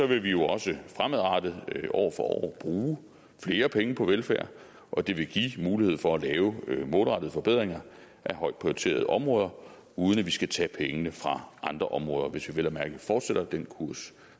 vil vi også fremadrettet år for år bruge flere penge på velfærd og det vil give mulighed for at lave målrettede forbedringer af højt prioriterede områder uden at vi skal tage pengene fra andre områder hvis vi vel at mærke fortsætter den kurs